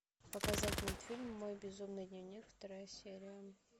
показать мультфильм мой безумный дневник вторая серия